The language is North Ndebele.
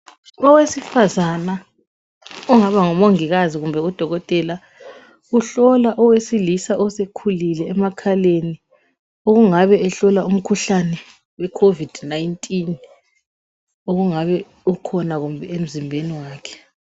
Owesifazana ongabe ngumongikazi kumbe udokotela uhlola owesilisa osekhulile emakhaleni. Okungabe ehlola umkhuhlane weCovid-19 okungabe ukhona kumbe emzimbeni wakhe